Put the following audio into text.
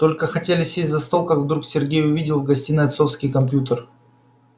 только хотели сесть за стол как вдруг сергей увидел в гостиной отцовский компьютер